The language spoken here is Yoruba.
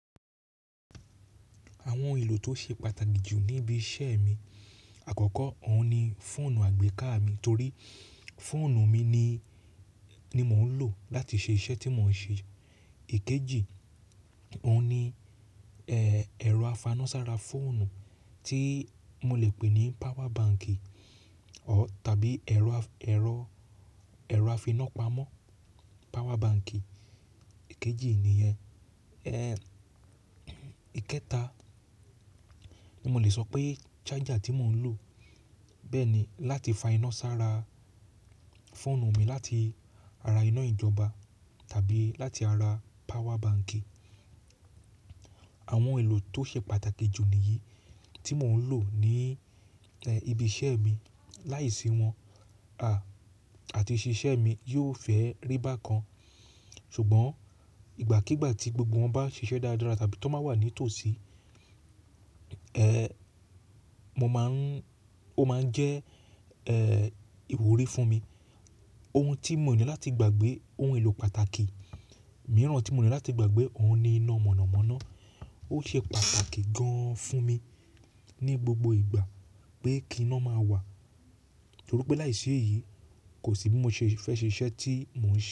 Àwọn ohun èlò tó ṣe pàtàkì jù ní ibi iṣẹ́ mi, àkọ́kọ́ òun ni fóònù àgbéká mi torí fóònù mi ni, ni mò ń lò láti ṣe iṣẹ́ tí mò ń ṣe. Èkejì, òun ni ẹ̀, ẹ̀rọ afáná sára fóònù tí mò lè pè ní power bank tàbí ẹ̀rọ afi-ìná pamọ́, power bank èkejì ni rẹ. Ẹ̀, ìkẹta ni mò lè sọ pé charger tí mò ń lò bẹ́ẹ̀ ni láti fa iná sára fóònù mi láti ara iná ìjọba tàbí láti ara power bank. Àwọn ohun èlò tó ṣe pàtàkì jù nìyí tí mò ń lò ní ìbí iṣẹ́ mi. Láìsí wọn a, àti ṣí iṣẹ́ mi yóò fẹ́ rí bákan. Ṣùgbọ́n ìgbàkígbà tí gbogbo wọn bá ṣiṣẹ́ dáradára tàbí tó máa wà ní tòsí, ẹ̀, mo máa ń, ó máa ń jẹ́, ẹ́, ìwúrí fún mi. Ohun tí mò ní láti gbàgbé, ohun èlò pàtàkì mìíràn tí mò ní láti gbàgbé òun ni iná mọ̀nàmọ́ná. Ó ṣe pàtàkì gan-an fún mi ní gbogbo ìgbà pé kí iná máa wà. Torí pé láìsí èyí kò sí bí mo ṣe fẹ́ ṣe iṣẹ́ tí mò ń ṣe.